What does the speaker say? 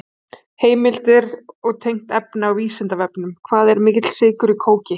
Heimildir og tengt efni á Vísindavefnum: Hvað er mikill sykur í kóki?